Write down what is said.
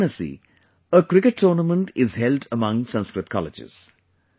In Varanasi, a cricket tournament is held among Sanskrit colleges